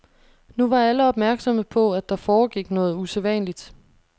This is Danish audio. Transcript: Nu var alle opmærksomme på, at der foregik noget usædvanligt.